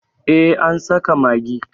eh an saka magi